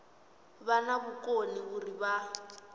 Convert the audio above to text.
vha na vhukoni uri vha